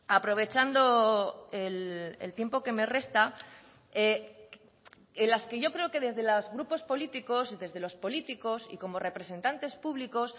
aprovechando el tiempo que me resta en las que yo creo que desde los grupos políticos desde los políticos y como representantes públicos